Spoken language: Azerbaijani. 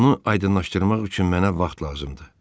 Bunu aydınlaşdırmaq üçün mənə vaxt lazımdır.